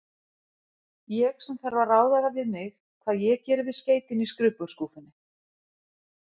Ég, sem þarf að ráða það við mig, hvað ég geri við skeytin í skrifborðsskúffunni.